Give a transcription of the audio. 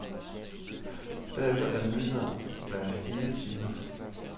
Derefter er der nyheder hver hele time.